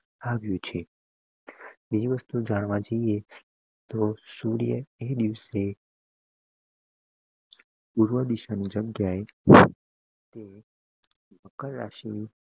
આવ્યું છે બીજી વસ્તુ જાણવા જાઈએ તોહ સૂર્ય એ દિવસ પૂર્વે ડીશ ના જગ્યા એ તે મકર રાશિ